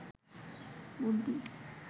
বুদ্ধি